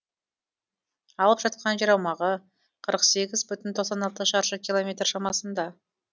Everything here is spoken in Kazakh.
алып жатқан жер аумағы қырық сегіз бүтін тоқсан алты шаршы километр шамасында